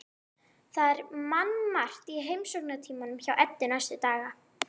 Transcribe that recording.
Það er mannmargt í heimsóknartímanum hjá Eddu næstu daga.